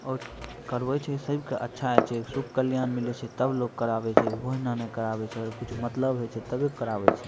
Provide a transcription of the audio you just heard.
और करवे छै सब के अच्छा होय छै सुख कल्याण मिले छै तब लोग करावे छै ओहने ने करावे छै अगर कुछ मतलब होय छै तबे लोग करावे छै।